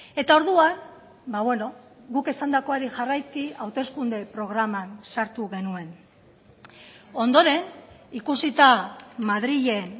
eta orduan guk esandakoari jarraiki hauteskunde programan sartu genuen ondoren ikusita madrilen